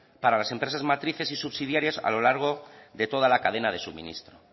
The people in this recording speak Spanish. para las empresas matrices y subsidiarias a lo largo de toda la cadena de suministro